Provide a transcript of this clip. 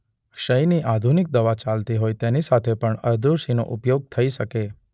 ક્ષયની આધુનિક દવા ચાલતી હોય તેની સાથે પણ અરડુસીનો ઉપયોગ થઈ શકે.